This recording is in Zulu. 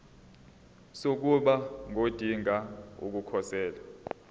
sokuba ngodinga ukukhosela